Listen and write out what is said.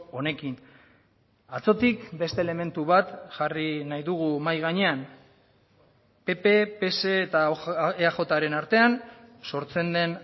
honekin atzotik beste elementu bat jarri nahi dugu mahai gainean pp pse eta eajren artean sortzen den